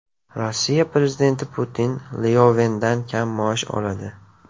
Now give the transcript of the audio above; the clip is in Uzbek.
Rossiya prezidenti Putin Lyovendan kam maosh oladi.